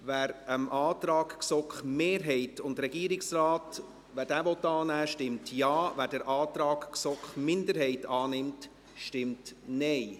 Wer dem Antrag GSoKMehrheit und Regierungsrat annehmen will, stimmt Ja, wer den Antrag GSoK-Minderheit annimmt, stimmt Nein.